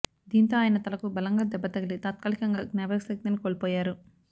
దీంతో ఆయన తలకు బలంగా దెబ్బ తగిలి తాత్కాలికంగా జ్ఞాపకశక్తిని కొల్పోయారు